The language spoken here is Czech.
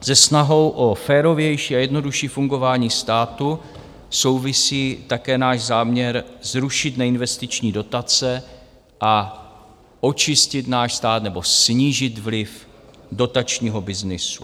Se snahou o férovější a jednodušší fungování státu souvisí také náš záměr zrušit neinvestiční dotace a očistit náš stát nebo snížit vliv dotačního byznysu.